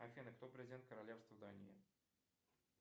афина кто президент королевства дании